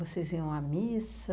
Vocês iam à missa?